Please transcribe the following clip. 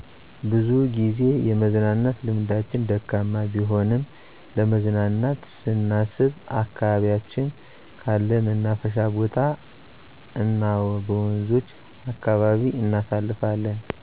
ብዙጊዜ የመዝናናት ልምዳችን ደካማ ቢሆንም ለመዝናናት ሳስብ ከአካባቢያችን ካለ መናፈሻ ቦታ እናበወንዞች አካባቢ እናሳልፋለን